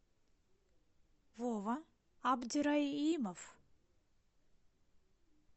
вова абдирайимов